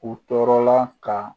U tɔɔrɔ la ka